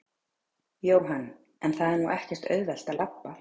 Jóhann: En það er nú ekkert auðvelt að labba?